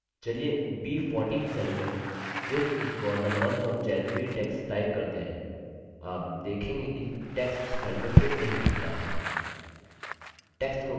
चलिए b14 cell में this is for the month of january text type करते हैं आप देखेंगे कि टेक्स्ट सेल में फिट नहीं होता है